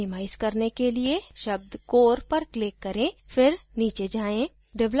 इसे minimize करने के लिए शब्द core पर click करें फिर नीचे जाएँ